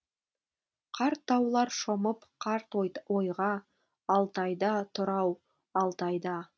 қарт таулар шомып қарт ойға алтайда тұр ау алтайда